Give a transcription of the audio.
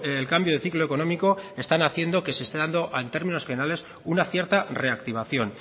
el cambio de ciclo económico están haciendo que se esté dando en términos generales una cierta reactivación